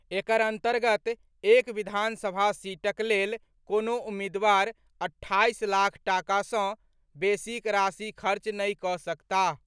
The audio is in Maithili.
एकर अंतर्गत एक विधानसभा सीटक लेल कोनो उम्मीदवार अट्ठाईस लाख टाका सँ बेसीक राशि खर्च नहि कऽ सकताह।